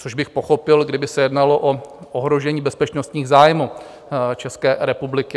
Což bych pochopil, kdyby se jednalo o ohrožení bezpečnostních zájmů České republiky.